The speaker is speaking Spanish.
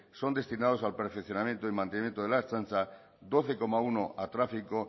son destinados a perfeccionamiento y el mantenimiento de la ertzaintza doce coma uno a tráfico